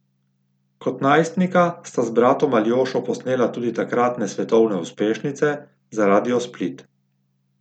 Kot najstnika sta z bratom Aljošo posnela tudi takratne svetovne uspešnice za Radio Split.